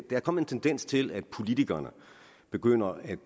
er kommet en tendens til at politikerne begynder at